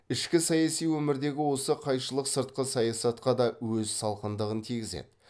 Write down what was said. ішкі саяси өмірдегі осы қайшылық сыртқы саясатқа да өз салқындығын тигізеді